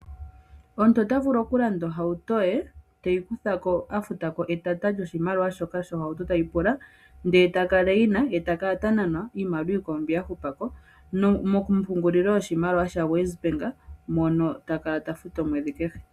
Omuntu ota vulu okulanda ohauto teyi kuthako afuta ko etata lyoshimaliwa shoka shohauto tayi pula, ndele ta kala eyina ye ta kala ta nanwa iimaliwa iikwawo mbi ya hupa ko mompungulilo yoshimaliwa ya WesBank, mono ta kala ta futu omweedhi kehe.